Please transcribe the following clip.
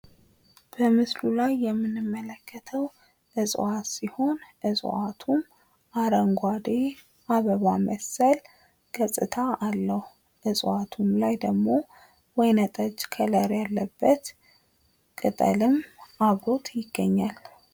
በምስሉ ላይ የምንመለከተው እፅዋት ሲሆን እፅዋቱ አረንጓዴ አበባ መሰል ገፅታ አለው። በእፅዋቱ ላይ ደግሞ ወይነ ጠጅ ከለር ያለበት ቅጠልም አብሮት ይገኛል።